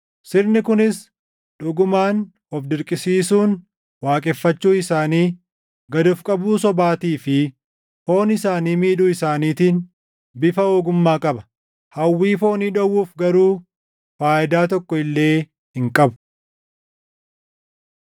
Sirni kunis dhugumaan of dirqisiisuun waaqeffachuu isaanii, gad of qabuu sobaatii fi foon isaanii miidhuu isaaniitiin bifa ogummaa qaba; hawwii foonii dhowwuuf garuu faayidaa tokko illee hin qabu.